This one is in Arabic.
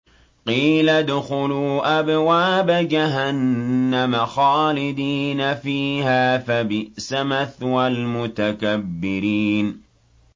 قِيلَ ادْخُلُوا أَبْوَابَ جَهَنَّمَ خَالِدِينَ فِيهَا ۖ فَبِئْسَ مَثْوَى الْمُتَكَبِّرِينَ